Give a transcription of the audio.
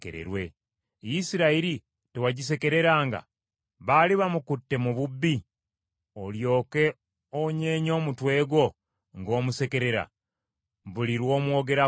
Isirayiri tewagisekereranga? Baali bamukutte mu bubbi, olyoke onyeenye omutwe gwo ng’omusekerera buli lw’omwogerako?